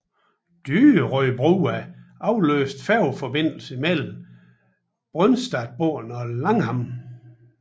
Dyrøybrua afløste færgeforbindelsen mellem Brøstadbotn og Langhamn